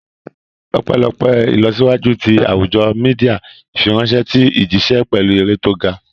Ọpẹ́lọpẹ́ ìlọsíwájú ti àwùjọ Mídíà, ìfiránṣẹ́ ti ń jíṣẹ́ pẹ̀lú eré tó ga